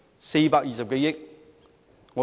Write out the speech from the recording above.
420多億元。